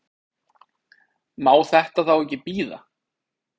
Má þetta þá ekki bíða?